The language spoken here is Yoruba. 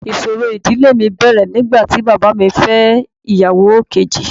Ìṣòro ìdílé mi bẹ̀rẹ̀ nígbà tí bàbá mi fẹ́ ìyàwó kejì.